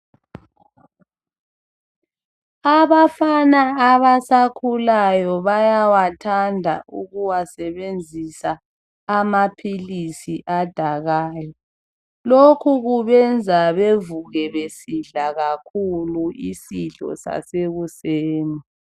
Abafana abasakhulayo bayawathanda ukuwasebenzisa amaphilisi adakayo. Lokhu kubenza bevuke besidla kakhulu isidlo sasekuseni.